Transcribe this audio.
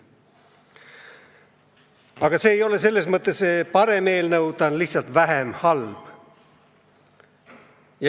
Aga see ei ole ikkagi hea eelnõu, see on lihtsalt vähem halb.